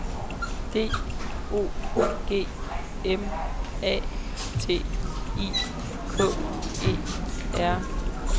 D O G M A T I K E R